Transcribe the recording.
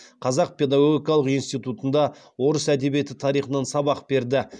қазақ педагогикалық институтында орыс әдебиеті тарихынан сабақ берді